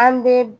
An bɛ